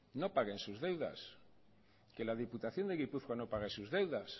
no paguen sus deudas que la diputación de gipuzkoa no pague sus deudas